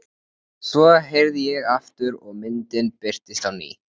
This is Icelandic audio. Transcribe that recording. Svo herði ég aftur og myndin birtist á ný.